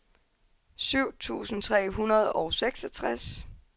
syv tusind tre hundrede og seksogtres